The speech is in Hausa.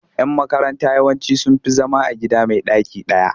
Yan makaranta yawanci sun fi zama a gida mai ɗaki ɗaya.